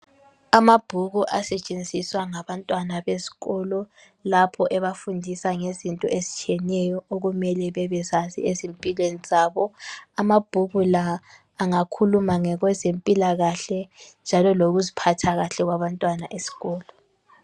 Amabhuku asetshenziswa ngabantwana besikolo lapho ebafundisa ngezinto ezitshiyeneyo okumele bebezazi ezimpilweni zabo amabhuku la angakhuluma ngokwezempilakahle njalo lokuziphatha kahle kwabantwana esikolo.